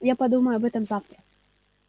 я подумаю об этом завтра